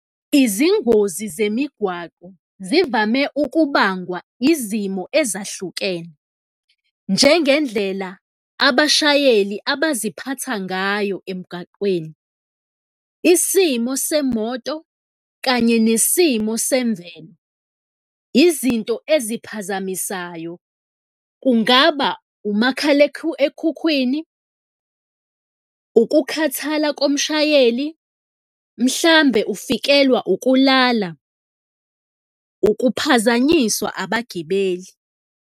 Izingozi zemigwaqo zivame ukubangwa izimo ezahlukene, njengendlela abashayeli abaziphatha ngayo emgaqweni, isimo semoto kanye nesimo semvelo. Izinto eziphazamisayo kungaba umakhalekhukhwini, ukukhathala komshayeli, mhlawumbe ufikelwa ukulala, ukuphazanyiswa abagibeli.